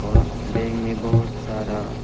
और बैग में बहुत सारा--